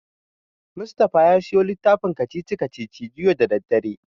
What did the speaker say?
Mustapha ya siyo littafin kacici-kacicici juya da daddare.